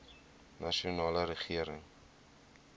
nasionale regering